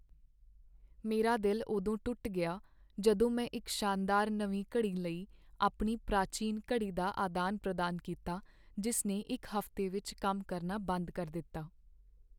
ਮੇਰਾ ਦਿਲ ਉਦੋਂ ਟੁੱਟ ਗਿਆ ਜਦੋਂ ਮੈਂ ਇੱਕ ਸ਼ਾਨਦਾਰ ਨਵੀਂ ਘੜੀ ਲਈ ਆਪਣੀ ਪ੍ਰਾਚੀਨ ਘੜੀ ਦਾ ਆਦਾਨ ਪ੍ਰਦਾਨ ਕੀਤਾ ਜਿਸ ਨੇ ਇੱਕ ਹਫ਼ਤੇ ਵਿੱਚ ਕੰਮ ਕਰਨਾ ਬੰਦ ਕਰ ਦਿੱਤਾ